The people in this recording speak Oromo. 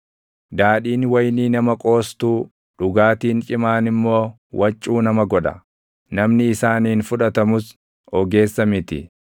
Daadhiin wayinii nama qoostuu, // dhugaatiin cimaan immoo waccuu nama godha; namni isaaniin fudhatamus ogeessa miti.